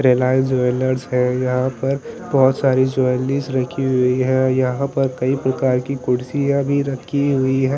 Reliance jewellers है यहाँ पर बहोत सारी ज्वेलरीज रखी हुई है यहाँ पर कई प्रकार की कुर्सियाँ भी रखी हुई है ।